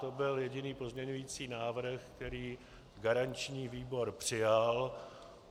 To byl jediný pozměňující návrh, který garanční výbor přijal.